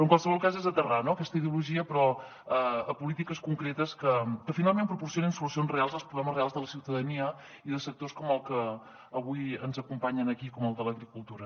en qualsevol cas és aterrar aquesta ideologia però a polítiques concretes que finalment proporcionin solucions reals als problemes reals de la ciutadania i de sectors com el que avui ens acompanya aquí com el de l’agricultura